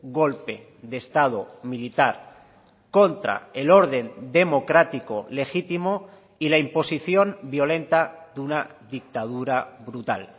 golpe de estado militar contra el orden democrático legítimo y la imposición violenta de una dictadura brutal